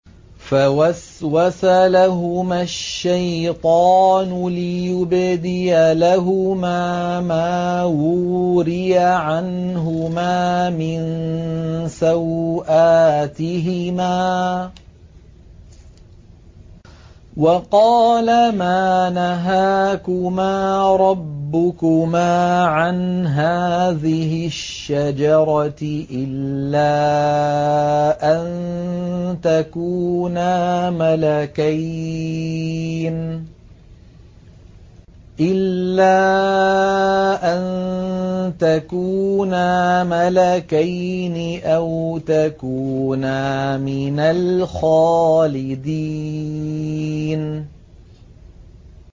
فَوَسْوَسَ لَهُمَا الشَّيْطَانُ لِيُبْدِيَ لَهُمَا مَا وُورِيَ عَنْهُمَا مِن سَوْآتِهِمَا وَقَالَ مَا نَهَاكُمَا رَبُّكُمَا عَنْ هَٰذِهِ الشَّجَرَةِ إِلَّا أَن تَكُونَا مَلَكَيْنِ أَوْ تَكُونَا مِنَ الْخَالِدِينَ